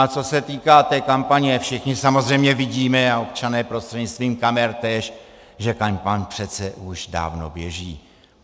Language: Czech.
A co se týká té kampaně, všichni samozřejmě vidíme a občané prostřednictvím kamer též, že kampaň přece už dávno běží.